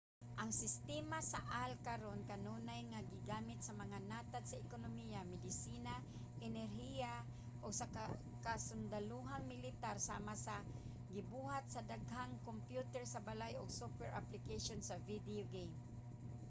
ang sistema sa ai karon kanunay nga gigamit sa mga natad sa ekonomiya medisina inhenyeriya ug sa kasundalohang militar sama sa gibuhat sa daghang kompyuter sa balay ug software application sa video game